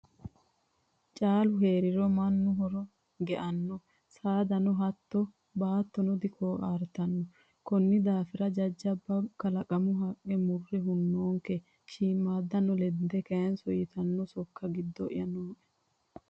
Caalu heeriro mannu horo geano saadano hatto baattono dikoartano koni daafira jajjabba kalaqanu haqqe murre hunoonke, shiimadano lende kayinso ytano sokka giddo'ya nooe.